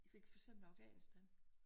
Fik for eksempel med Afghanistan